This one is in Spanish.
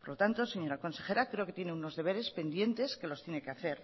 por lo tanto señora consejera creo que tiene unos deberes pendientes que los tiene que hacer